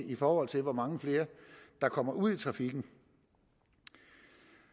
i forhold til hvor mange flere der kommer ud i trafikken